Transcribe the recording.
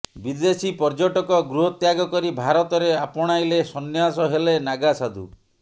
ବିଦେଶୀ ପର୍ଯ୍ୟଟକ ଗୃହ ତ୍ୟାଗ କରି ଭାରତରେ ଆପଣାଇଲେ ସନ୍ୟାସ ହେଲେ ନାଗାସାଧୁ